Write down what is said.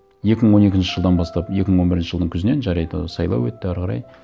екі мың он екінші жылдан бастап екі мың он бірінші жылдың күзінен жарайды сайлау өтті әрі қарай